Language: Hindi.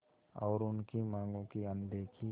और उनकी मांगों की अनदेखी